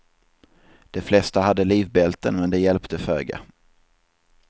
De flesta hade livbälten men det hjälpte föga.